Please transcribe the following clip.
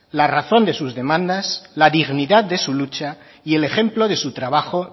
la razón de sus demandas la dignidad de su lucha y el ejemplo de su trabajo